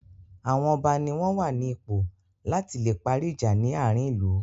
Àwọn ọba ní wọ́n wà ní ipò la tí le parí ìjà ní àárín ìlú.